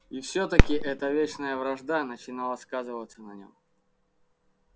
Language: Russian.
и всё-таки эта вечная вражда начинала сказываться на нём